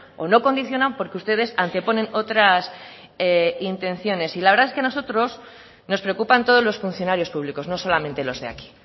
o no condicionan porque ustedes anteponen otras intenciones y la verdad es que a nosotros nos preocupan todos los funcionarios públicos no solamente los de aquí